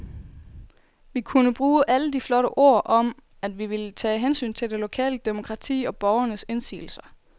Vi kunne bruge alle de flotte ord om, at vi ville tage hensyn til det lokale demokrati og borgernes indsigelser.